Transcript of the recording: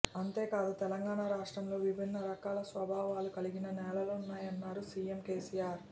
అందేకాదు తెలంగాణ రాష్ట్రంలో విభిన్న రకాల స్వభావాలు కలిగిన నేలలున్నాయన్నారు సీఎం కేసీఆర్